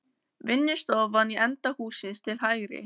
Vinnustofan í enda hússins til hægri.